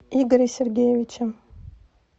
игоре сергеевиче